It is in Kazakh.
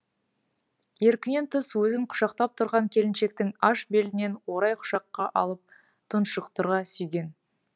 еркінен тыс өзін құшақтап тұрған келіншектің аш белінен орай құшаққа алып тұншықтыра сүйген